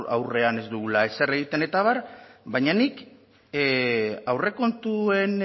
aurrean ez dugula ezer egiten eta abar baina nik aurrekontuen